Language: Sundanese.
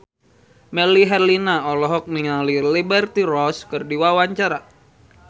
Melly Herlina olohok ningali Liberty Ross keur diwawancara